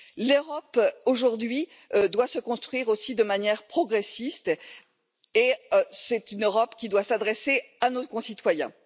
L'Europe aujourd'hui doit se construire aussi de manière progressiste et c'est une Europe qui doit s'adresser à nos concitoyens.